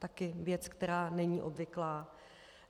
Taky věc, která není obvyklá.